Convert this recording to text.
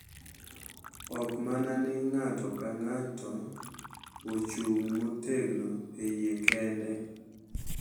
Ok mana ni ng’ato ka ng’ato ochung’ motegno e yie kende,